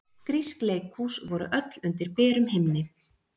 Grísk leikhús voru öll undir berum himni.